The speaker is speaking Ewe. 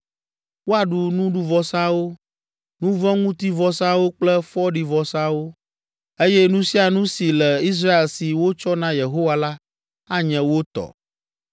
Woaɖu nuɖuvɔsawo, nu vɔ̃ ŋuti vɔsawo kple fɔɖivɔsawo, eye nu sia nu si le Israel si wotsɔ na Yehowa la, anye wo tɔ.